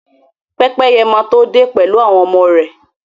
Pẹ́pẹ́ye máa to dé pẹ̀lú àwọn ọmọ rè.